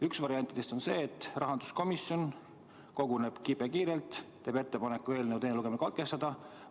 Üks variant on see, et rahanduskomisjon koguneb kibekiirelt, teeb ettepaneku eelnõu teine lugemine katkestada.